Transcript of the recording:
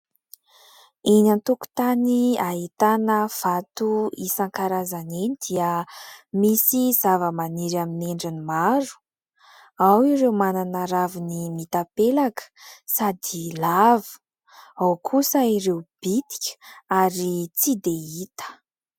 Eny an-tokotany ahitana vato isankarazany dia misy zava-maniry amin'ny endriny maro ao ireo manana raviny mitapelaka sady lava, ao kosa ireo bitika ary tsy dia hita.